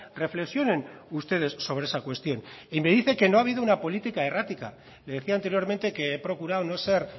reflexionen ustedes sobre esa cuestión y me dice que no ha habido una política errática le decía anteriormente que he procurado no ser